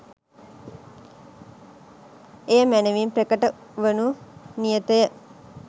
එය මැනවින් ප්‍රකට වනු නියතය.